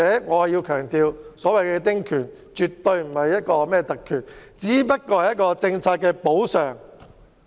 我還想強調，所謂的丁權絕對不是特權，而是一種政策補償。